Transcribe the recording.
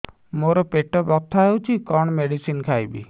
ମୋର ପେଟ ବ୍ୟଥା ହଉଚି କଣ ମେଡିସିନ ଖାଇବି